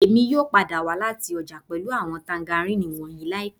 Èmi yóò padà dé láti ọjà pẹ̀lú àwọn mandarini wọ̀nyìí láìpẹ́